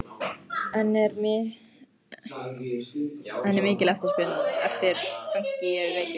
En er mikil eftirspurn eftir fönki í Reykjavík?